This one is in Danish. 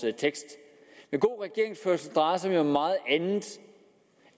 tekst men god regeringsførelse drejer sig jo om meget andet